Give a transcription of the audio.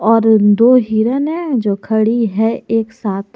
और दो हिरण है जो खड़ी है एक साथ।